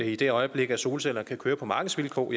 i det øjeblik at solcellerne kan køre på markedsvilkår